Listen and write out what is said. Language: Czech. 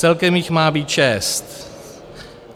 Celkem jich má být šest.